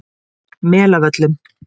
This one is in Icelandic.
Melavöllum